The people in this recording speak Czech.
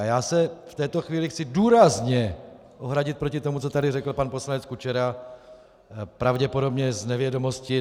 A já se v této chvíli chci důrazně ohradit proti tomu, co tady řekl pan poslanec Kučera pravděpodobně z nevědomosti.